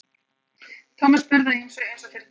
Tommi spurði að ýmsu einsog fyrir tilviljun.